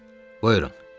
Buyurun, dedi.